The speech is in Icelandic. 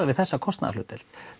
við þessa kostnaðarhlutdeild